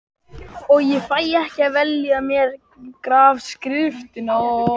Og ég fæ ekki að velja mér grafskriftina.